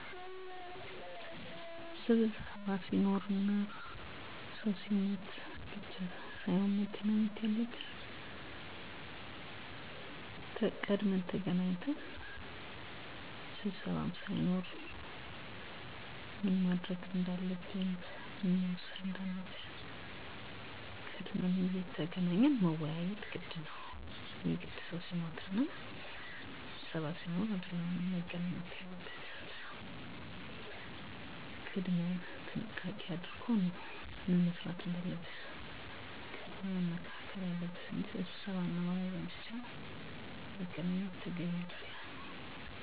በቁጥር ለመግለፅ በጣም አስቸጋሪ ነው ነገር ግን በአብዛኛው ጊዜ ሚገናኙት እንደ አሰፈላጊነቱ ስብሰባ ሲኖር እና የሞተ ሰው በሚኖርበት ጊዜ። በስብሰባው ወቅት ሚከናወኑት ነገሮች አዲስ አባል ሲኖር ያንን እንዲገባ ፍቃድ ለመስጠት፣ የመዋጮ ብር ጭማሪ ካሰፈለገ ስለሱ ለመወያዬት፣ አዲስ ሊቀመንበር ለመምረጥ ከአሁን በፊት የነበረው ሊቀመንበር በደንብ መምራት ማይችል ከሆነ እና ያንን ለመስራት ፍቃደኛ ካልሆነ፣ እሚያሰፈልጉ እቃዎችን ለምሳሌ፦ ሰሀን፣ መጠጫ፣ ድንኳን እና ወንበሮችን ለመግዛት እና እርዳታ ሲኖር ያንን ለማገዝ ይሰባሰባሉ።